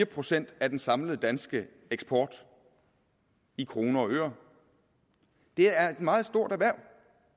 procent af den samlede danske eksport i kroner og øre det er et meget stort erhverv